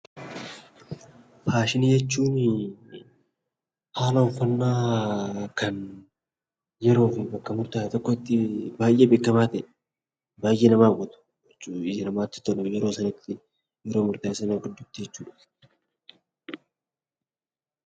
Faashinii jechuuni haala uffannaa kan yeroo fi bakka murtaa'e tokko tti baay'ee beekamaa ta'e, baay'ee nama hawwatu, ija namaa tti tolu yeroo sana tti, yeroo murtaa'e sana gidduu tti jechuu dha.